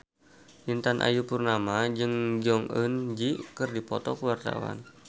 Intan Ayu Purnama jeung Jong Eun Ji keur dipoto ku wartawan